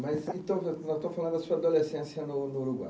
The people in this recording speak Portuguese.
Mas então, estou falando da sua adolescência no no Uruguai.